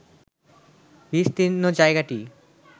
বিস্তীর্ণ জায়গাটি